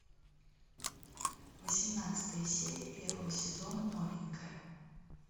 восемнадцатая серия первого сезона новенькая